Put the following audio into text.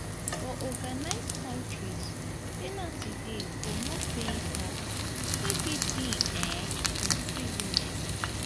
for organised countries penalty dey for not paying taxes e fit be um imprisonment